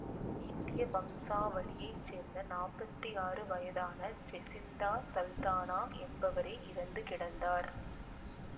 இந்திய வம்சாவளியை சேர்ந்த நாப்த்தி ஆறு வயதான ஜெசிந்தா சல்தானா என்பவரே இறந்து கிடந்தார்